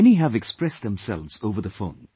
Many have expressed themselves over the phone